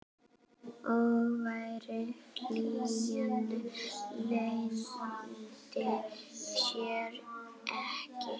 Hógvær hlýjan leyndi sér ekki.